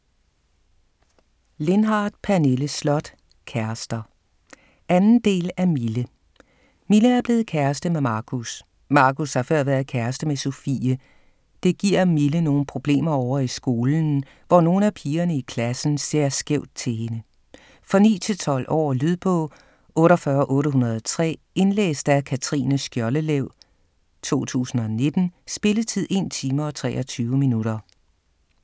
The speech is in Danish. Lindhardt, Pernille Sloth: Kærester 2. del af Mille. Mille er blevet kæreste med Markus. Markus har før været kæreste med Sofie. Det giver Mille nogle problemer ovre i skolen, hvor nogle af pigerne i klassen ser skævt til hende. For 9-12 år. Lydbog 48803 Indlæst af Katrine Skjoldelev, 2019. Spilletid: 1 time, 23 minutter.